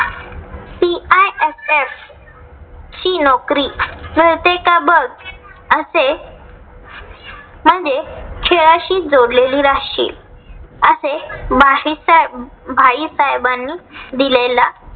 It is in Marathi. ची नौकरी मिळतेय का बघ? असे म्हणजे खेळाशी जोडलेली राहशील. असे भाईसर भाई साहेबांनी दिलेला